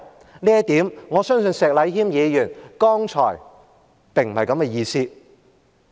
就這一點，我相信石禮謙議員剛才並非這個意思。